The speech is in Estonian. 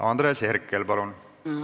Andres Herkel, palun!